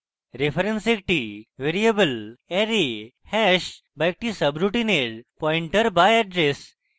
reference একটি variable array hash বা একটি subroutine এর পয়েন্টার বা এড্রেস